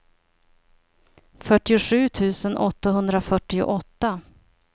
fyrtiosju tusen åttahundrafyrtioåtta